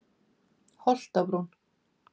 Holtabrún